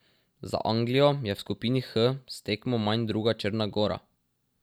Za Anglijo je v skupini H s tekmo manj druga Črna Gora.